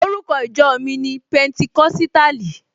Orúkọ ìjọ mi ni Pẹnticọ́sítàlì.